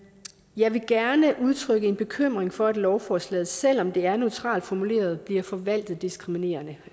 jeg vil gerne udtrykke en bekymring for at lovforslaget selv om det er neutralt formuleret bliver forvaltet diskriminerende